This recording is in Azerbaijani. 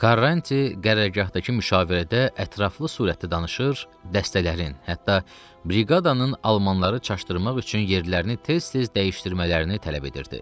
Karranti qərargahdakı müşavirədə ətraflı surətdə danışır, dəstələrin, hətta briqadanın almanları çaşdırmaq üçün yerlərini tez-tez dəyişdirmələrini tələb edirdi.